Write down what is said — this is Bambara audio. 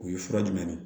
O ye fura jumɛn de ye